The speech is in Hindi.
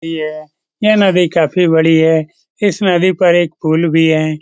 ये यह नदी काफ़ी बड़ी है। इस नदी पर एक पुल भी है।